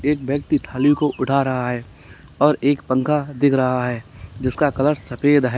एक व्यक्ति थाली को उठा रहा है और एक पंखा दिख रहा है जिसका कलर सफेद है।